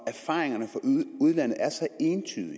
erfaringerne fra udlandet er så entydige